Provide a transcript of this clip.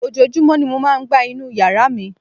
Ojoojúmọ́ ni mo máa ń gbá inú yàrá mi